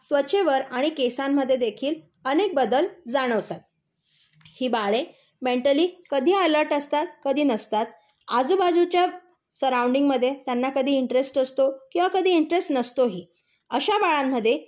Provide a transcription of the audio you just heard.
त्वचेवर आणि केसांमध्ये देखील अनेक बदल जाणवतात. ही बाळे मेंटली कधी अलर्ट असतात, कधी नसतात. आजूबाजूच्या सरवून्दिंग मध्ये त्यांना कधी इंट्रेस्ट असतो, किंवा कधी इंट्रेस्ट नसतोही. अशा बाळांमध्ये